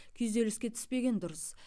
күйзеліске түспеген дұрыс